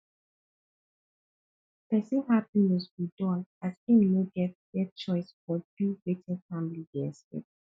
pesin hapiness go dull as im no get get choice but do wetin family dey expect